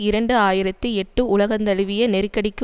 இரண்டு ஆயிரத்தி எட்டு உலகந்தழுவிய நெருக்கடிக்கு